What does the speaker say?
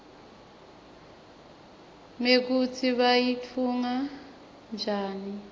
mekutsi bayitfunge njari